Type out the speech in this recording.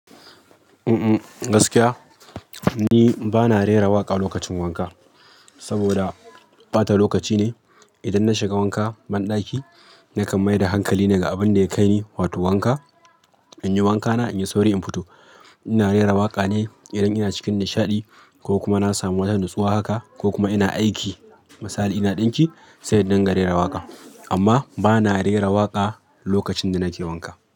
Mm mm gaskiya ni ba na rera waƙa lokacin wanka saboda ɓata lokaci ne. Idan na shiga wanka banɗaki nakan maida hankali ne ga abin da ya kai ni, wato wanka. Inyi wankana inyi sauri in fito. Ina rera waƙa ne idan ina cikin nishaɗi ko kuma na samu wata nutsuwa haka ko kuma ina aiki. Misali ina ɗinki sai indinga rera waƙa. Amma ba na rera waƙa lokacin da nake wanka.